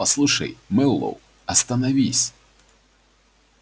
послушай мэллоу остановись